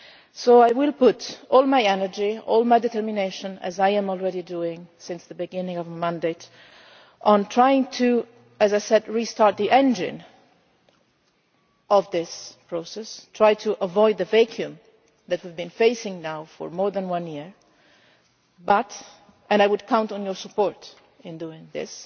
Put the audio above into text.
So I will put all my energy and determination, as I have been doing since the beginning of my mandate, into trying to, as I said, restart the engine of this process and avoid the vacuum that we have been facing now for more than one year. However and I would count on your support in doing this,